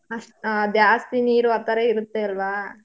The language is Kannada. ಅಷ್ಟ್ ಜಾಸ್ತಿ ನೀರು ಆ ಥರಾ ಇರತ್ತೆ ಅಲ್ವಾ.